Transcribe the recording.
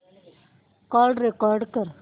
call record कर